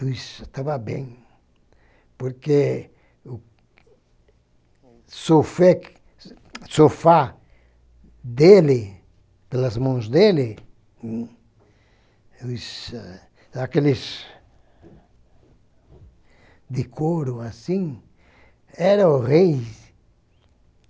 Eu estava bem, porque o sofe sofá dele, pelas mãos dele, eles, aqueles de couro assim, era horrível.